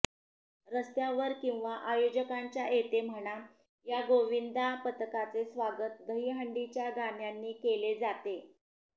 रस्त्यावर किंवा आयोजकांच्या येथे म्हणा या गोविंदा पथकांचे स्वागत दहीहंडीच्या गाण्यांनी केले जाते